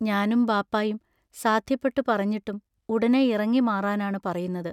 ഞാനും ബാപ്പായും സാദ്ധ്യപ്പെട്ടു പറഞ്ഞിട്ടും ഉടനെ ഇറങ്ങി മാറാനാണു പറയുന്നത്.